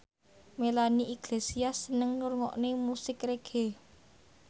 Melanie Iglesias seneng ngrungokne musik reggae